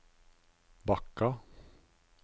Bakka